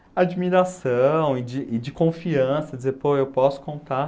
admiração e de e de confiança, de dizer, pô, eu posso contar.